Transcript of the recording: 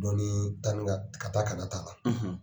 Dɔnnii ka taa kana t'a la.